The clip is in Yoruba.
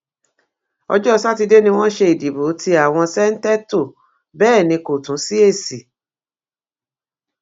ọjọ sátidé ni wọn ṣe ìdìbò tí àwọn ṣèǹtẹtò bẹẹ ní kò tún sí èsì